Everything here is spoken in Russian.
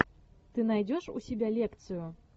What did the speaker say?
ты найдешь у себя лекцию